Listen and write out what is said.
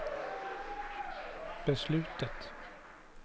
beslutet